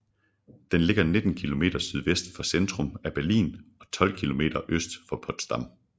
Den ligger 19 km sydvest for centrum af Berlin og 12 km øst for Potsdam